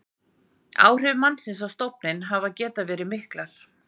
áhrif mannsins á stofninn hafa getað verið mikil